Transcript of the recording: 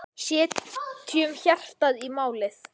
Setjum hjartað í málið.